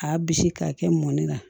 K'a bisi k'a kɛ mɔni na